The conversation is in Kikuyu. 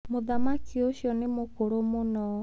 Mũthamaki ũcio nĩ mũkũrũ mũno.